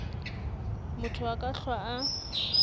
motho a ka hlwa a